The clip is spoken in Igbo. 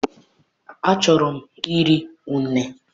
achọrọ m iri une